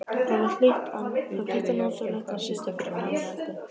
Það var hlýtt og notalegt að sitja fyrir framan eldinn.